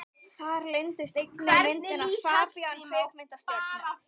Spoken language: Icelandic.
Þar leyndist einnig myndin af FABÍAN kvikmyndastjörnu.